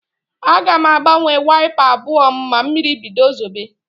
Aga m agbanwe waịpa abụọ m ma mmiri bido zobe.